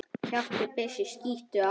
Kjaftur byssu skýtur aftur.